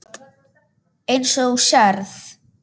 Eins og þú sérð.